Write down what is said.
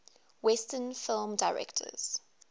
western film directors